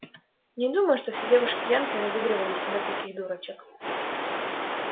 не думаю чтобы все девушки-янки разыгрывали из себя таких дурочек